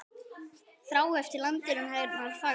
Þrá eftir landinu hennar fagra.